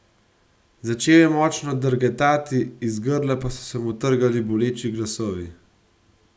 Začel je močno drgetati, iz grla pa so se mu trgali boleči glasovi.